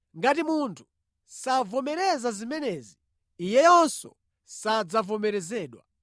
Ngati munthu savomereza zimenezi, iyeyonso sadzavomerezedwa.